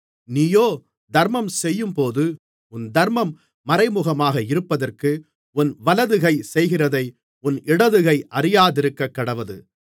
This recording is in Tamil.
நீயோ தர்மம் செய்யும்போது உன் தர்மம் மறைமுகமாக இருப்பதற்கு உன் வலது கை செய்கிறதை உன் இடதுகை அறியாதிருக்கக்கடவது